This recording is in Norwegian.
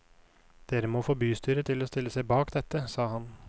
Dere må få bystyret til å stille seg bak dette, sa han.